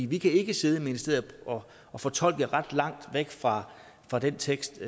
vi kan ikke sidde i ministeriet og fortolke ret langt væk fra fra den tekst